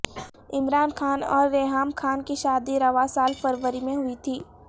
عمران خان اور ریحام خان کی شادی رواں سال فروری میں ہوئی تھی